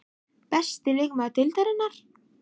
Besti leikmaður Deildarinnar?